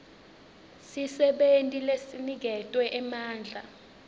sisebenti lesiniketwe emandla